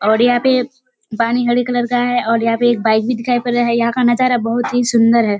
और यहाँ पे पानी हरे कलर का है और यहाँ पे एक बाइक भी दिखाई पड़ रहा है यहाँ का नजारा बहुत ही सुंदर है।